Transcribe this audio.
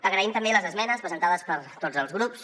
agraïm també les esmenes presentades per tots els grups